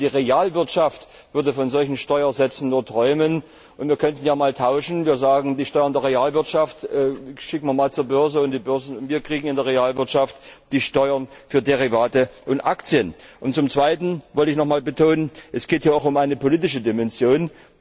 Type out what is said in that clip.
Die Realwirtschaft würde von solchen Steuersätzen nur träumen. Wir könnten ja einmal tauschen und sagen Die Steuern der Realwirtschaft schicken wir zur Börse, und wir bekommen in der Realwirtschaft die Steuern für Derivate und Aktien. Zum Zweiten möchte ich noch einmal betonen Es geht hier auch um eine politische Dimension.